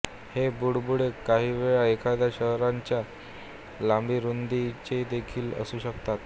हे बुडबुडे काहीवेळा एखाद्या शहराच्या लांबीरुंदीचेदेखील असू शकतात